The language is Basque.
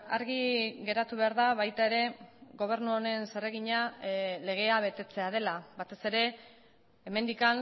argi geratu behar da baita ere gobernu honen zeregina legea betetzea dela batez ere hemendik